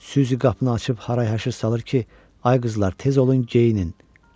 Süzi qapını açıb haray-həşir salır ki, ay qızlar, tez olun geyinin.